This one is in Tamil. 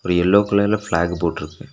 ஒரு எல்லோ கலர்ல பிளாக் போட்ருக்கு.